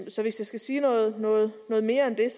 så hvis jeg skal sige noget noget mere end det er